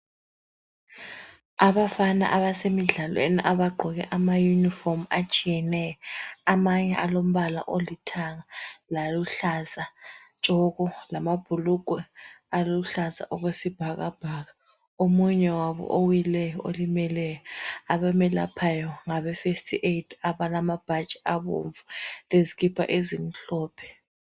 Abafana abasemidlalweni abagqoke ama uniform atshiyeyeneyo amanye alombala olithanga loluhlaza tshoko lamabhulugwe aluhlaza okwesibhakabhaka omunye wabo owileyo olimeleyo abamelephayo ngabefirst aid abalamabhatshi abomvu